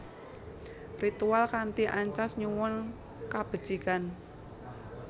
Ritual kanthi ancas nyuwun kabecikan